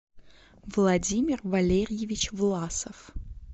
владимир валерьевич власов